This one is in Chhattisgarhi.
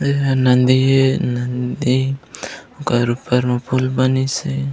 एहा नदी हे नदी ओकर ऊपर म पूल बनिसे।